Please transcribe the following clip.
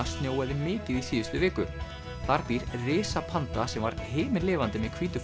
snjóaði mikið í síðustu viku þar býr sem var himinlifandi með hvítu